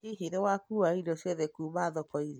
Hihi nĩ wakũũa indo ciothe kuuma thoko-inĩ?